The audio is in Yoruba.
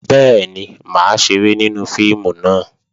Bẹ́ẹ̀ni, mà á ṣeré nínú fíìmù náà